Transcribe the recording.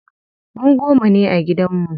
Mu goma ne a gidan mu.